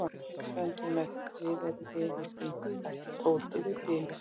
Já, við stöndum með þér, við erum vinir þínir bætti Tóti við blíðlega.